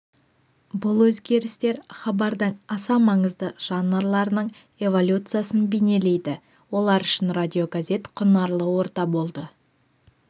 бұл өзгерістер хабардың аса маңызды жанрларының эволюциясын бейнелейді олар үшін радиогазет құнарлы орта болды